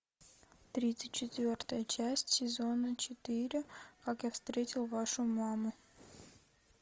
тридцать четвертая часть сезона четыре как я встретил вашу маму